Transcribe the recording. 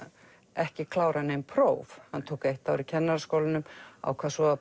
ekki klárað nein próf hann tók eitt ár í Kennaraskólanum ákvað svo